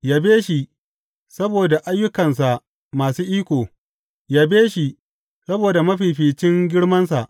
Yabe shi saboda ayyukansa masu iko; yabe shi saboda mafificin girmansa.